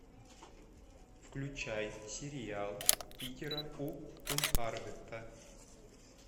включай сериал питера у кунхардта